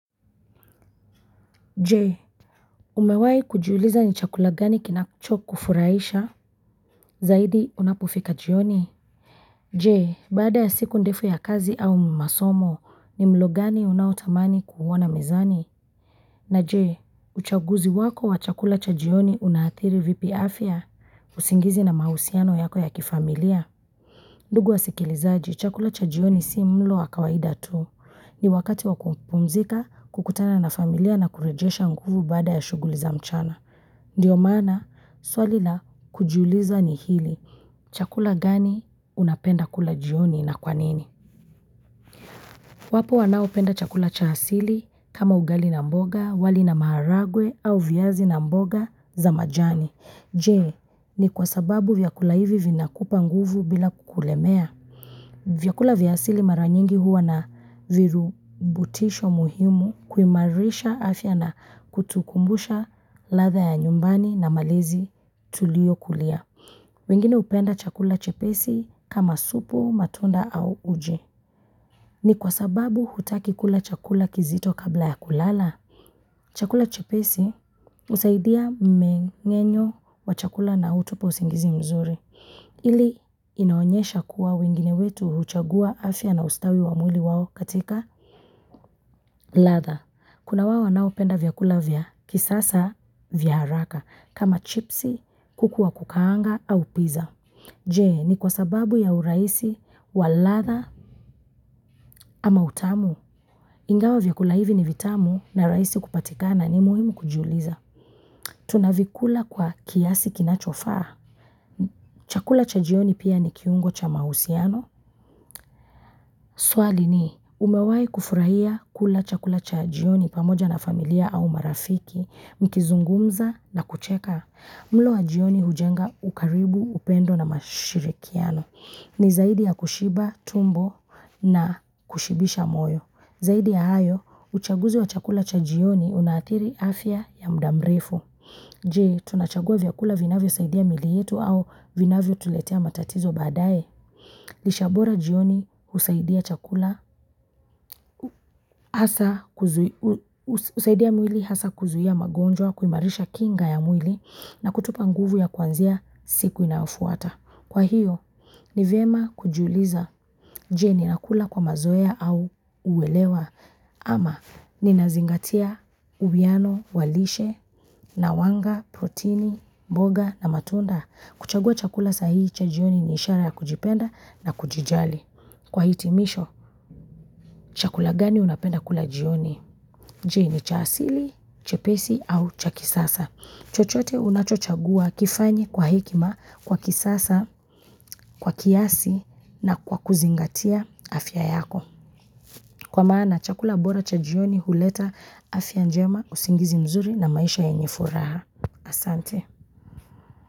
Je Umewahi kujiuliza ni chakula gani kinacho kufurahisha Zaidi unapofika jioni. Je, baada ya siku ndefu ya kazi au masomo, ni mlo gani unaotamani kuuona mezani? Na Je uchaguzi wako wa chakula cha jioni unaadhiri vipi afya, usingizi na mahusiano yako ya kifamilia ndugu wasikilizaji, chakula cha jioni si mlo wa kawaida tu. Ni wakati wa kumpumzika, kukutana na familia na kurejesha nguvu baada ya shughuli za mchana. Ndiyo maana, swali la kujiuliza ni hili. Chakula gani unapenda kula jioni na kwa nini? Wapo wanaopenda chakula cha asili kama ugali na mboga, wali na maharagwe au viyazi na mboga za majani. Je, ni kwa sababu vyakula hivi vinakupa nguvu bila kukulemea. Vyakula vya asili mara nyingi huwa na virubutisho muhimu kuimarisha afya na kutukumbusha ladha ya nyumbani na malezi tuliokulia. Wengine hupenda chakula chepesi kama supu, matunda au uje. Ni kwa sababu hutaki kula chakula kizito kabla ya kulala. Chakula chepesi husaidia mmeng'enyo wa chakula na hutupa usingizi mzuri. Hili linaonyesha kuwa wengine wetu huchagua afya na ustawi wa mwili wao katika ladha. Kuna wao wanaopenda vyakula vya kisasa vya haraka kama chipsi, kuku wa kukaanga au pizza. Je ni kwa sababu ya urahisi wa ladha ama utamu? Ingawa vyakula hivi ni vitamu na rahisi kupatika ni muhimu kujiuliza. Tunavikula kwa kiasi kinachofaa? Chakula cha jioni pia ni kiungo cha mahusiano. Swali ni umewahi kufurahia kula chakula cha jioni pamoja na familia au marafiki, mkizungumza na kucheka? Mlo wa jioni hujenga ukaribu, upendo na mashirikiano. Ni zaidi ya kushiba tumbo na kushibisha moyo. Zaidi ya hayo, uchaguzi wa chakula cha jioni unaadhiri afya ya muda mrefu. Je, tunachagua vyakula vinavyosaidi miili yetu au vinavyotuletea matatizo badaye? Lishe bora jioni husaidia chakula, hasa husaidia mwili hasa kuzuia magonjwa, kuimarisha kinga ya mwili na kutupa nguvu ya kwanzia siku inayofuata. Kwa hiyo, nivyema kujiuliza je, ninakula kwa mazoea au uwelewa ama ninazingatia uwiyano wa lishe, nawanga, protini, mboga na matunda? Kuchagua chakula sahihi cha jioni ni ishara ya kujipenda na kujijali. Kwa hitimisho, chakula gani unapenda kula jioni? Je, ni cha asili, chepesi au cha kisasa. Chochote unachochagua kifanye kwa hekima, kwa kisasa, kwa kiasi na kwa kuzingatia afya yako. Kwa maana, chakula bora cha jioni huleta afya njema usingizi mzuri na maisha yenye furaha. Asante.